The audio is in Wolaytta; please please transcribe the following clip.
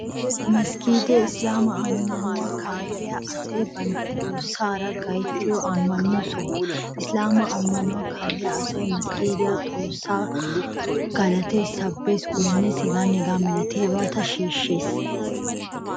Masggiidee islaama ammanuwaa kaalliya asay bantta Xoossaara gayttiyo ammano soho. Islaama ammanuwaa kaalliya asay masggiidiyan xoossaayyo galataa, sabaa, goynuwaa h.h.m shiishshees.